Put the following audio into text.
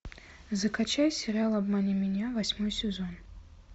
закачай сериал обмани меня восьмой сезон